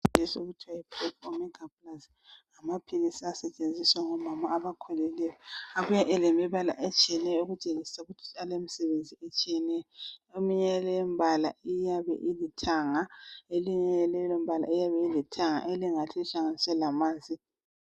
Ipreg omega plus ngamaphilisi asetshenziswa ngomama abakhulileyo. Abuya elemibala etshiyeneyo okutshengisa ukuthi alemisebenzi etshiyeneyo. Eminye yaleyombala iyabe ilithanga eminye yaleyombala ilithanga elingathi lihlanganiswe lamanzi .